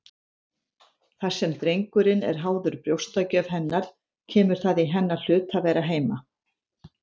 Þar sem drengurinn er háður brjóstagjöf hennar kemur það í hennar hlut að vera heima.